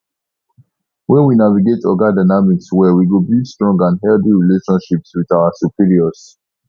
when we navigate oga dynamics well we go build strong and healthy relationships with our superiors